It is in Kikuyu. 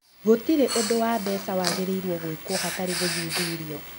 Gũtirĩ ũndũ wa mbeca wagĩrĩirũo gwĩkwo hatarĩ gũthuthurio.